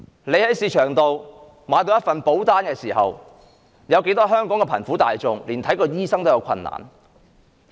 你在市場上買了一份保單時，有多少香港貧苦大眾連看醫生也有困難呢？